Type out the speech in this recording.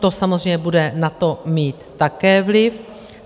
To samozřejmě bude na to mít také vliv.